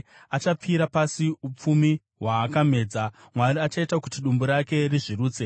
Achapfira pasi upfumi hwaakamedza; Mwari achaita kuti dumbu rake rizvirutse.